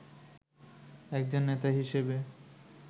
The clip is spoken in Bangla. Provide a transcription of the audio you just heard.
একজন নেতা হিসেবে